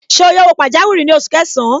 Ṣé o yá owó pajawiri ní oṣù kẹsàn-án?